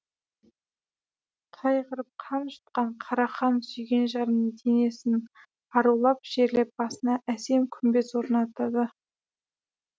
қайғырып қан жұтқан қарахан сүйген жарының денесін арулап жерлеп басына әсем күмбез орнатады